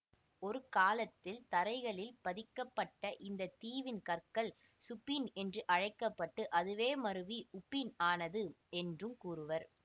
ஒருகாலத்தில் தரைகளில் பதிக்கப்பட்ட இந்த தீவின் கற்கள் சுபின் என்று அழைக்க பட்டு அதுவே மருவி உபின் ஆனது என்றும் கூறுவர்